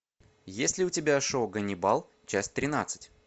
есть ли у тебя шоу ганнибал часть тринадцать